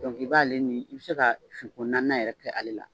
i b'ale nin i bɛ se ka finko naaninan yɛrɛ kɛ ale la